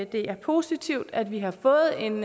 det er positivt at vi har fået en